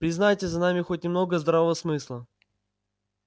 признайте за нами хоть немного здравого смысла